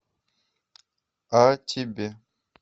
а тебе